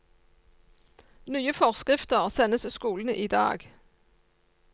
Nye forskrifter sendes skolene i dag.